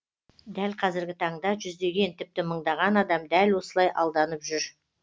дәл қазіргі таңда жүздеген тіпті мыңдаған адам дәл осылай алданып жүр